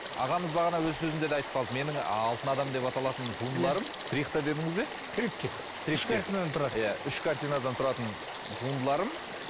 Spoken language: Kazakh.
ағамыз бағана өз сөзінде де айтып қалды менің алтын адам деп аталатын туындыларым трихта дедіңіз бе триптих үш картинадан тұрады үш картинадан тұратын туындыларым